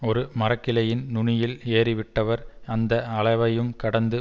ஒரு மரக்கிளையின் நுனியில் ஏறிவிட்டவர் அந்த அளவையும் கடந்து